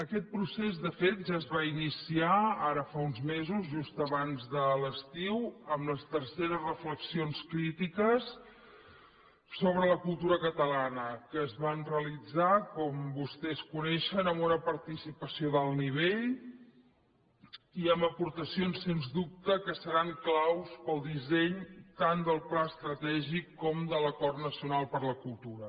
aquest procés de fet ja es va iniciar ara fa uns mesos just abans de l’estiu amb les terceres reflexions crítiques sobre la cultura catalana que es van realitzar com vostès coneixen amb una participació d’alt nivell i amb aportacions sens dubte que seran clau per al disseny tant del pla estratègic com de l’acord nacional per la cultura